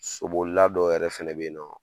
So bolila dɔw yɛrɛ fɛnɛ bɛ yen nɔ.